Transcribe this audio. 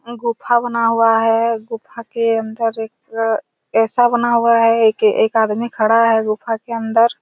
और गुफा बना हुआ है इस गुफा के अंदर एक ऐसा बना हुआ है एक आदमी खड़ा है गुफा के अंदर--